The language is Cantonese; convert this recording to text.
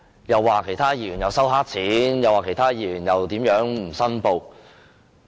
又說其他議員收黑錢、又說其他議員不申報利益。